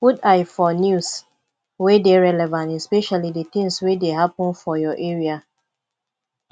put eye for news wey dey relevant especially di things wey dey happen for your area